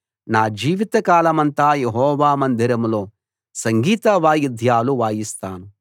నా జీవిత కాలమంతా యెహోవా మందిరంలో సంగీత వాయిద్యాలు వాయిస్తాను